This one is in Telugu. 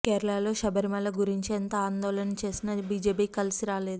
కేరళలో శబరిమల గురించి ఎంత ఆందోళన చేసినా బిజెపికి కలిసి రాలేదు